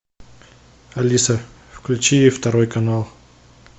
алиса включи второй канал